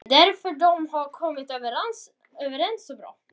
Þess vegna hafa þeir átt vel saman.